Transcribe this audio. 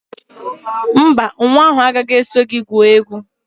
Mba, nwa ahụ agaghị eso gị gwuo egwu